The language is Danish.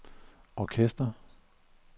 orkester